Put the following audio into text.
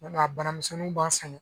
Nka bana misɛnninw b'an sɛgɛn